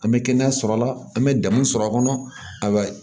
An bɛ kɛnɛya sɔrɔ a la an bɛ degun sɔrɔ a kɔnɔ